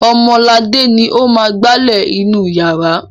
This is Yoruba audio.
Ọmọladé ni ó máa ń gbálẹ̀ inú ìyàrá.